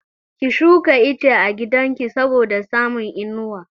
Ki shuka ice a gidan ki saboda samun inuwa!